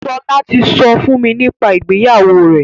Ṣọlá ti sọ fún mi nípa ìgbéyàwó rẹ̀.